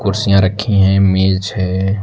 कुर्सियां रखी हैं मेज है।